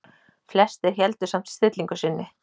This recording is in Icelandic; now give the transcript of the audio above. Flestir héldu samt stillingu sinni.